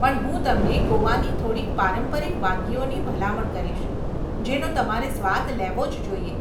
પણ હું તમને ગોવાની થોડી પારંપરિક વાનગીઓની ભલામણ કરીશ જેનો તમારે સ્વાદ લેવો જ જોઈએ.